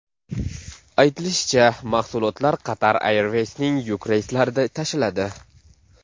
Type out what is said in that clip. Aytilishicha, mahsulotlar Qatar Airways’ning yuk reyslarida tashiladi.